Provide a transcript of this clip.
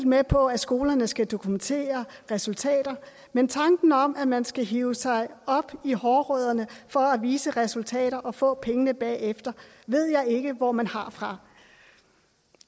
med på at skolerne skal dokumentere resultater men tanken om at man skal hive sig op i hårrødderne for at vise resultater og få penge bagefter ved jeg ikke hvor man har fra